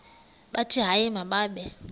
bathi hayi mababe